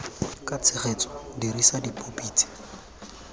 ka tshegetso dirisa dipopi tse